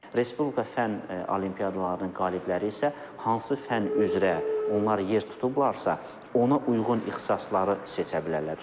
Respublika fənn olimpiadalarının qalibləri isə hansı fənn üzrə onlar yer tutublarsa, ona uyğun ixtisasları seçə bilərlər.